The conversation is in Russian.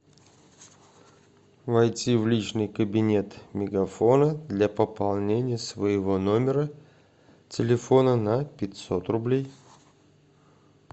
войти в личный кабинет мегафона для пополнения своего номера телефона на пятьсот рублей